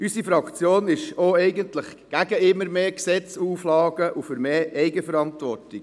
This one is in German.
Unsere Fraktion ist eigentlich gegen immer mehr Gesetze und Auflagen und ist für mehr Eigenverantwortung.